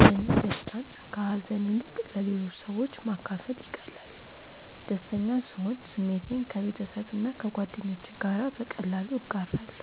ለእኔ ደስታን ከሀዘን ይልቅ ለሌሎች ማካፈል ይቀላል። ደስተኛ ስሆን ስሜቴን ከቤተሰብና ከጓደኞቼ ጋር በቀላሉ እጋራለሁ።